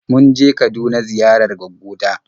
Mun je Kaduna ziyarar gwaggo ta.